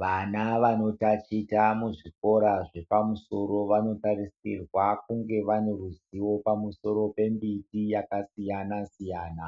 Vana vanontachita muzvikora zvepamusoro vanotarisirwa kuti vakunge vaane ruziwo pamusoro pemiti yakasiyana siyana,